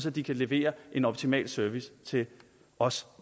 at de kan levere en optimal service til os